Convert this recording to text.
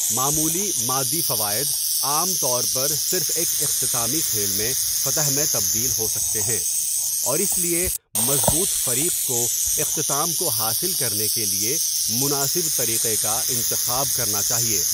معمولی مادی فوائد عام طور پر صرف ایک اختتامی کھیل میں فتح میں تبدیل ہو سکتے ہیں، اور اس لیے مضبوط فریق کو اختتام کو حاصل کرنے کے لیے مناسب طریقہ کا انتخاب کرنا چاہیے۔